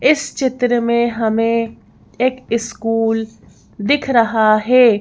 इस चित्र में हमें एक स्कूल दिख रहा है।